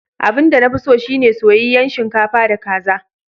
Abin da na fi so shi ne soyayyen shinkafa da kaza.